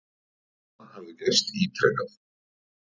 Þetta hafi gerst ítrekað.